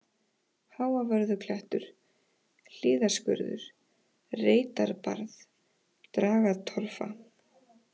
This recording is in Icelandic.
Háavörðuklettur, Hlíðaskurður, Reitarbarð, Dragatorfa